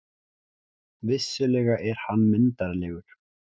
Vissulega er hann myndarlegur.